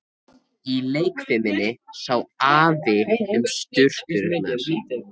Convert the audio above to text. Í leikfiminni sá Afi um sturturnar.